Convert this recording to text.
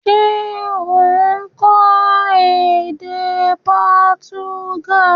Se o n kó édé Portuguese?